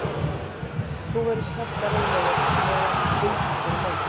Þú verður sallarólegur á meðan og fylgist bara með.